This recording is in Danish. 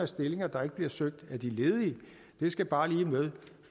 stillinger der ikke bliver søgt af de ledige det skal bare lige med